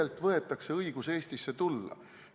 Kellelt võetakse õigus Eestisse tulla?